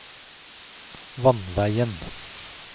vannveien